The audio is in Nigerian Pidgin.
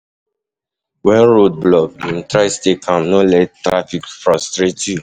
Wen road block, try stay calm, no let traffic frustrate you.